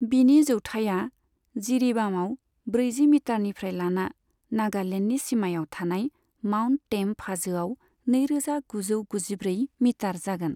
बिनि जौथाइया जिरीबामआव ब्रैजि मिटारनिफ्राय लाना नागालेण्डनि सिमायाव थानाय माउन्ट टेम्प हाजोआव नैरोजा गुजौ गुजिब्रै मिटार जागोन।